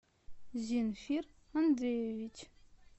зинфир андреевич